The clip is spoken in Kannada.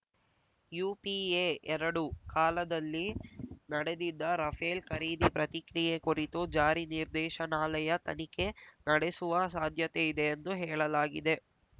ಯುಪಿಎಎರಡು ಕಾಲದಲ್ಲಿ ನಡೆದಿದ್ದ ರಫೇಲ್‌ ಖರೀದಿ ಪ್ರತಿಕ್ರಿಯೆ ಕುರಿತು ಜಾರಿ ನಿರ್ದೇಶನಾಲಯ ತನಿಖೆ ನಡೆಸುವ ಸಾಧ್ಯತೆ ಇದೆ ಎಂದು ಹೇಳಲಾಗಿದೆ